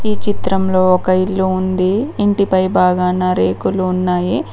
ఈ చిత్రంలో ఒక ఇల్లు ఉంది ఇంటి పై భాగాన రేకులు ఉన్నాయి.